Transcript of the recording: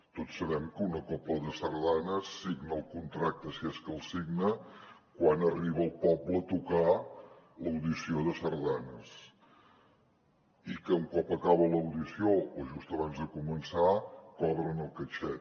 tots sabem que una cobla de sardanes signa el contracte si és que el signa quan arriba al poble a tocar l’audició de sardanes i que un cop acaba l’audició o just abans de començar cobren el caixet